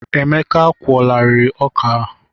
Emeka a kwụọlarịị ọkà a?.